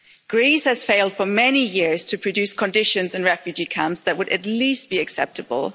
Greece has failed for many years to produce conditions in refugee camps that would at least be acceptable.